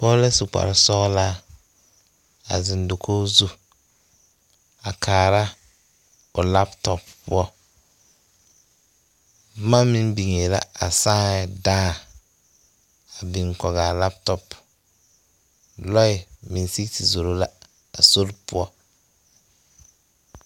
Pɔge la su kpare sɔglaa a zeŋ dakogi zu a kaara o laptop poɔ boma meŋ biŋee la a saa la dãã a biŋ kɔge a laptop.